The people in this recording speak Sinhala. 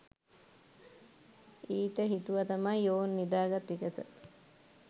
ඊට හීතුව තමයි ඔවුන් නිදා ගත් විගස